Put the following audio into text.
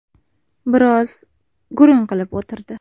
Biroz gurung qilib o‘tirdi.